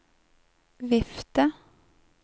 vifte